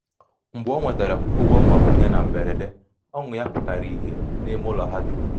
mgbe o nwetara ụgwọ mgbakwunye na mberede ọṅụ ya pụtara ìhè n’ime ụlọ ha dum.